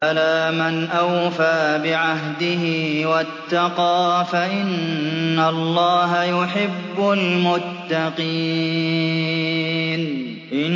بَلَىٰ مَنْ أَوْفَىٰ بِعَهْدِهِ وَاتَّقَىٰ فَإِنَّ اللَّهَ يُحِبُّ الْمُتَّقِينَ